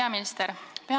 Hea peaminister!